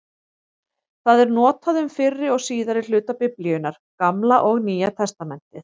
Það er notað um fyrri og síðari hluta Biblíunnar, Gamla og Nýja testamentið.